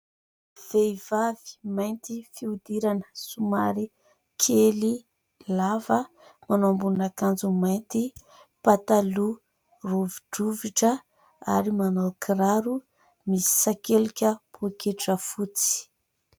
Vehivavy mainty fihodirana, somary kely, lava, manao ambonin'akanjo mainty, pataloha rovi-drovitra ary manao kiraro, misakelika pôketra fotsy.